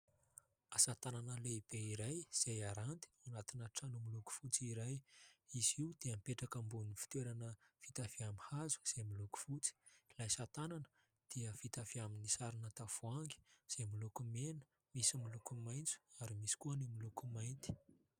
Asa tanana lehibe iray, izay aranty ao anatina trano miloko fotsy iray. Izy io dia mipetraka ambony fitoerana vita avy amin'ny hazo, izay miloko fotsy. Ilay asa tanana dia vita avy amin'ny sarona tavoahangy, izay moloko mena, misy miloko maitso ary misy koa ny miloko mainty.